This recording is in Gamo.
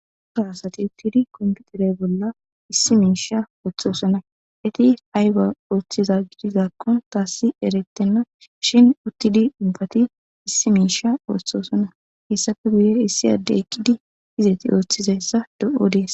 Daro asyatiy utidey dizaysay besayesi